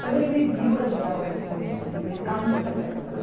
Quando ele me viu, ele já estava com a esposa e os filhos dele no carro, ele desapareceu.